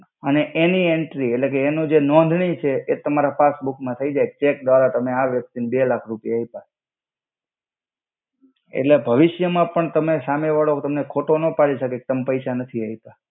અને એનિ એન્ટ્રિ એટ્લે કે એનો જે નોંધણિ છે એ તમારા પાસબુક મા થઈ જઈ ચેક દ્વારા તમે આ વ્યક્તિ ને બે લ્લખ રુપિયા આય્પા.